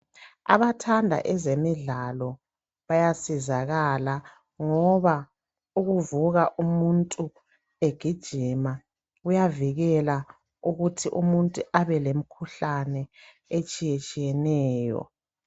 Abathanda ezemidlalo bayasizakala ngoba ukuvuka umuntu egijma ,kuyavikela ukuthi umuntu abelemikhuhlane etshiyetsheneyo.